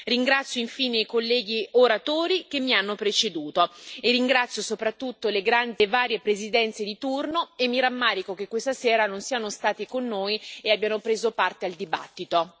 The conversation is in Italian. Ringrazio, infine, i colleghi oratori che mi hanno preceduto e ringrazio soprattutto le varie presidenze di turno e mi rammarico che questa sera non siano stati con noi e abbiano preso parte al dibattito.